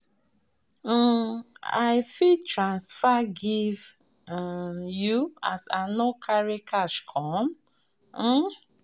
um I fit run transfer give um you as I no carry cash come? um